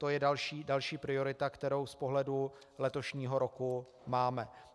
To je další priorita, kterou z pohledu letošního roku máme.